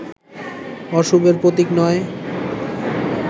অশুভের প্রতীক নয়